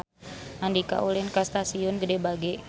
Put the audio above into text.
Andika ulin ka Stasiun Gede Bage